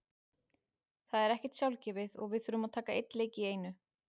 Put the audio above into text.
Það er ekkert sjálfgefið og við þurfum að taka einn leik í einu.